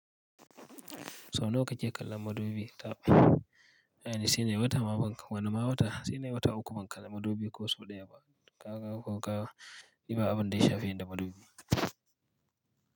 So nawa kake kallon madubi? Taɓ Aini sai nayi wata ma banka, wana ma wata, sai nayi wata uku ban kalla madubi ko sau ɗaya ba. Kaga ko kaga, ni ba abun da ya shafe da madubi.